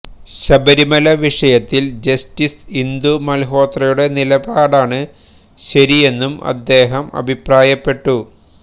ശബരിമല വിഷയത്തില് ജസ്റ്റിസ് ഇന്ദു മല്ഹോത്രയുടെ നിലപാടാണ് ശരിയെന്നും അദ്ദേഹം അഭിപ്രായപ്പെട്ടു